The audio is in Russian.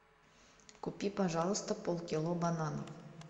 купи пожалуйста полкило бананов